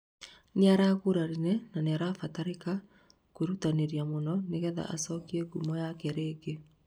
nĩaragũrarire na nĩarabatarĩkana kwĩrũtanĩria mũno nĩgetha acokie ngũmo yake rĩngĩ